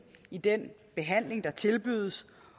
i den behandling der tilbydes